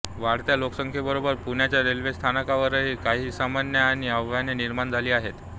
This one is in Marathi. वाढत्या लोकसंख्येबरोबर पुण्याच्या रेल्वे स्थानकावरही काही समस्या आणि आव्हाने निर्माण झाली आहेत